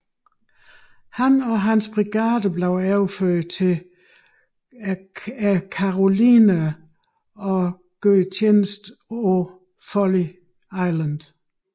Han og hans brigade blev overført til Carolinaerne og gjorde tjeneste på Folly Island